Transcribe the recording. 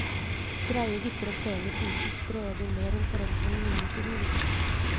Greie gutter og pene piker streber mer enn foreldrene noensinne gjorde.